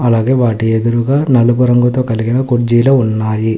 అలాగే వాటి ఎదురుగా నలుపు రంగుతో కలిగిన కుర్చీలు ఉన్నాయి.